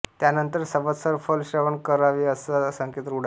त्यानंतर संवत्सर फल श्रवण करावेअसा संकेत रूढ आहे